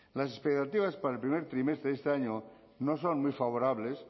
las expectativas para el primer trimestre de este año no son muy favorables